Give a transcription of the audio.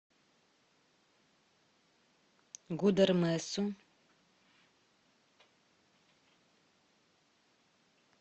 гудермесу